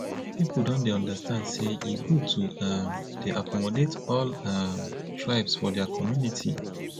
pipu don dey understand sey e good to um dey accommodate all um tribes for their community